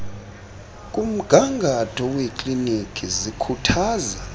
kumgangatho wekliniki zikhuthaza